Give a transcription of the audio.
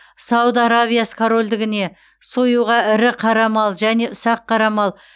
сауд арабиясы корольдігіне союға ірі қара мал және ұсақ қара мал